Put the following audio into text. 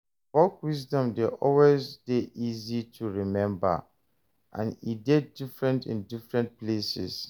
Folk wisdom de always de easy to remember and e de different in different places